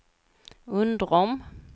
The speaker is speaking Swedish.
Undrom